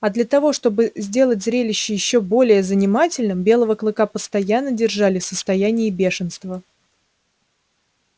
а для того чтобы сделать зрелище ещё более занимательным белого клыка постоянно держали в состоянии бешенства